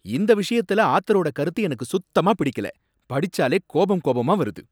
இந்த விஷயத்துல ஆத்தரோட கருத்து எனக்கு சுத்தமா பிடிக்கல, படிச்சாலே கோபம் கோபமா வருது.